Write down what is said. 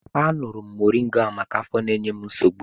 Aṅụrụ m moringa ahụ maka afọ na-enye m nsogbu.